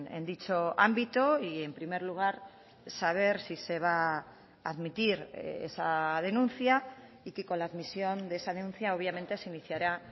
en dicho ámbito y en primer lugar saber si se va a admitir esa denuncia y que con la admisión de esa denuncia obviamente se iniciará